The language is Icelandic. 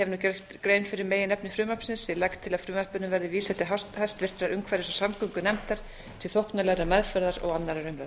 nú gert grein fyrir meginefni frumvarpsins ég legg til að frumvarpinu verði vísað til hæstvirtrar umhverfis og samgöngunefndar til þóknanlegrar meðferðar og annarrar umræðu